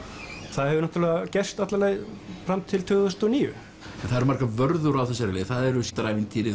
það hefur náttúrulega gerst alla leið fram til tvö þúsund og níu en það eru margar vörður á þessari leið síldarævintýrið